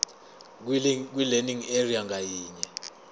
kwilearning area ngayinye